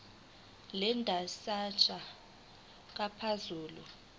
le ndatshana ngamaphuzu